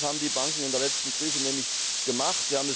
Und genau das haben die Banken in der letzten Krise nämlich gemacht.